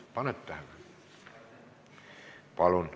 Panid tähele?